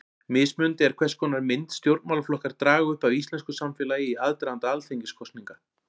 Mismunandi er hvers konar mynd stjórnmálaflokkar draga upp af íslensku samfélagi í aðdraganda alþingiskosninga.